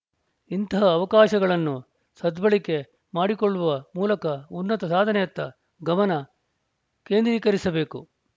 ಇಂತಹ ಅವಕಾಶಗಳನ್ನು ಸದ್ಭಳಕೆ ಮಾಡಿಕೊಳ್ಳುವ ಮೂಲಕ ಉನ್ನತ ಸಾಧನೆಯತ್ತ ಗಮನ ಕೇಂದ್ರೀಕರಿಸಬೇಕು